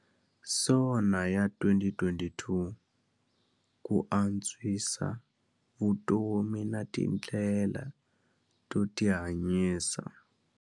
SONA ya 2022- Ku antswisa vutomi na tindlela to tihanyisa.